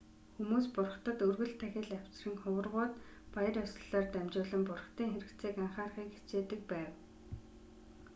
хүмүүс бурхдад өргөл тахил авчран хуврагууд баяр ёслолоор дамжуулан бурхдын хэрэгцээг анхаарахыг хичээдэг бав